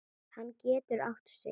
Hann getur átt sig.